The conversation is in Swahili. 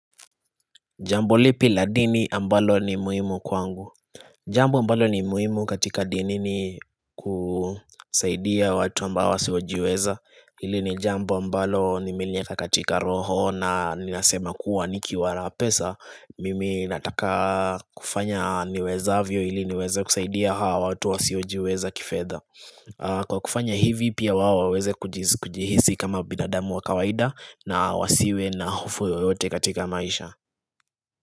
Jambo lipi la dini ambalo ni muhimu kwangu Jambo ambalo ni muhimu katika dini ni kusaidia watu ambao wasiojiweza Hili ni jambo ambalo nimelieka katika roho na ninasema kuwa nikiwa na pesa Mimi nataka kufanya niwezavyo ili niweze kusaidia hawa watu wasiojiweza kifedha Kwa kufanya hivi pia wao waweze kujihisi kama binadamu wa kawaida na wasiwe na hofu yoyote katika maisha.